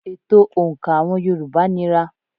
Ètò òǹkà àwọn yorùbá nira.